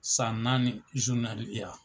San naani